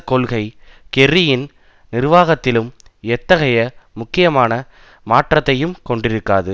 கொள்கை கெர்ரியின் நிர்வாகத்திலும் எத்தகைய முக்கியமான மாற்றத்தையும் கொண்டிருக்காது